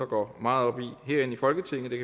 går meget op i herinde i folketinget det